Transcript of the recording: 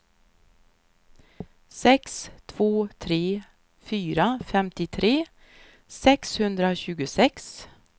sex två tre fyra femtiotre sexhundratjugosex